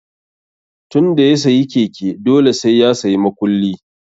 Tun da ya sayi keke, dole sai ya sayi makulli